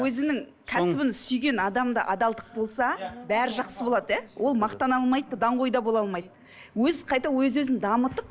өзінің кәсібін сүйген адамда адалдық болса бәрі жақсы болады иә ол мақтана алмайды да даңғой да бола алмайды өз қайта өз өзін дамытып